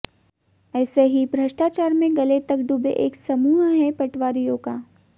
ऐसे ही भ्रष्टाचार में गले तक डूबे एक समूह है पटवारियों का